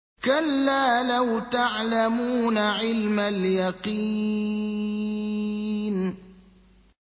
كَلَّا لَوْ تَعْلَمُونَ عِلْمَ الْيَقِينِ